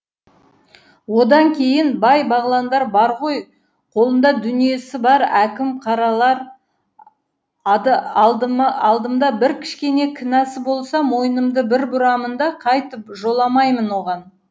одан кейін бай бағландар бар ғой қолында дүниесі бар әкім қаралар алдымда бір кішкене кінәсі болса мойнымды бір бұрамын да қайтып жоламаймын оған